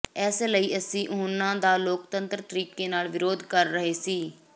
ਇਸ ਲਈ ਅਸੀਂ ਉਨ੍ਹਾਂ ਦਾ ਲੋਕਤੰਤਰ ਤਰੀਕੇ ਨਾਲ ਵਿਰੋਧ ਕਰ ਰਹੇ ਸੀ